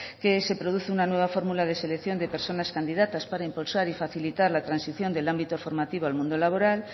que se produce una nueva fórmula de selección de personas candidatas para impulsar y facilitar la transición del ámbito formativo al mundo laboral